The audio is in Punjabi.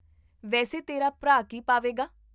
ਵੈਸੇ ਤੇਰਾ ਭਰਾ ਕੀ ਪਾਵੇਗਾ?